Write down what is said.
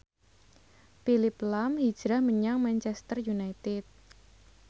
Phillip lahm hijrah menyang Manchester united